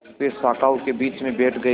वे शाखाओं के बीच में बैठ गए